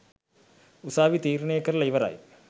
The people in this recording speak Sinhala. උසාවි තීරණය කරලා ඉවරයි.